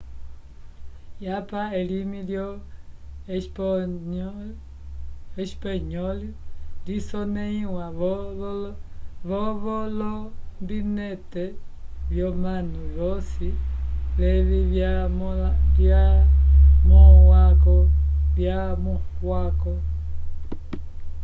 yapa elimi lyo espanyol lisoneiwa vo volombinetevyomanu vosi levi vyamukwavo